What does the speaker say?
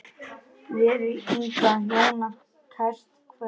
Veri Inga Jóna kært kvödd.